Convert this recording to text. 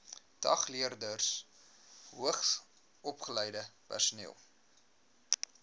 dagleerders hoogsopgeleide personeel